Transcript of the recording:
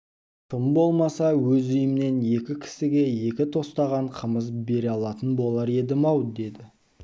тым болмаса өз үйімнен екі кісіге екі тостаған қымыз бере алатын болар едім-ау деді